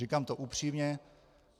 Říkám to upřímně.